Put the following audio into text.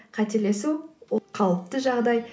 қателесу ол қалыпты жағдай